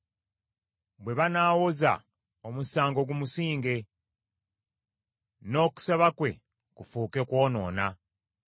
Bwe banaawoza, omusango gumusinge; n’okusaba kwe kufuuke kwonoona.